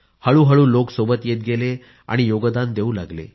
हळूहळू लोक सोबत येत गेले आणि योगदान देऊ लागले